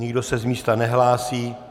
Nikdo se z místa nehlásí.